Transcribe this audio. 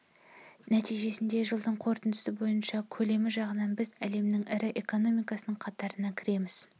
нәтижесінде жылдың қорытындысы бойынша көлемі жағынан біз әлемнің ірі экономикасының қатарына кіреміз